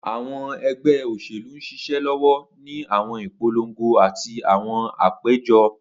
Awọn ẹgbẹ oṣelu n ṣiṣẹ lọwọ ni awọn ipolongo ati awọn apejọ.